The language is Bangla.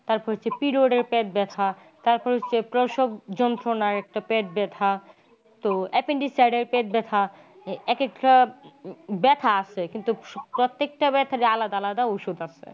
তারপর হচ্ছে priod এর পেট ব্যাথা। তারপর হচ্ছে প্রসব যন্ত্রণার একটা পেট ব্যাথা. তো appendix side পেট ব্যাথা। এক একটা ব্যাথা আসছে কিন্তু প্রত্যেকটা ব্যাথার আলাদা আলাদা ওষুধ আছে।